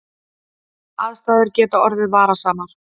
Aðstæður geta orðið varasamar